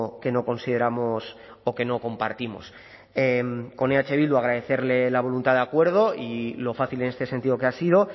que no consideramos o que no compartimos con eh bildu agradecerle la voluntad de acuerdo y lo fácil en este sentido que ha sido